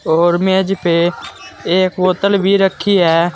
और मेज पे एक बोतल भी रखी है।